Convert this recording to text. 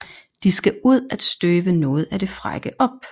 De skal ud at støve noget af det frække op